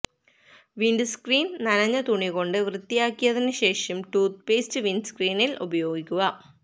windscreen നനഞ്ഞ തുണി കൊണ്ട് വൃത്തിയാക്കിയതിന് ശേഷം ടൂത്ത്പേസ്റ്റ് വിന്ഡ്സ്ക്രീനില് ഉപയോഗിക്കുക